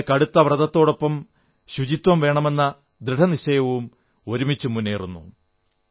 അവിടെ കടുത്ത വ്രതത്തോടൊപ്പം ശുചിത്വം വേണമെന്ന ദൃഢനിശ്ചയവും ഒരുമിച്ചു മുന്നേറുന്നു